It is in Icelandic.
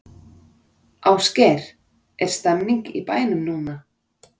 Ásgeir, er stemning í bænum núna?